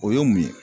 O ye mun ye